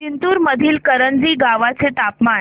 जिंतूर मधील करंजी गावाचे तापमान